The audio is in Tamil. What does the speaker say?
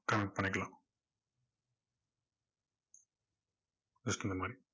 just இந்த மாதிரி